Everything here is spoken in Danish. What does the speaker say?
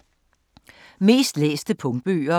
Mest læste punktbøger